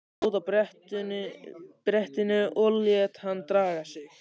Stóð á brettinu og lét hann draga sig.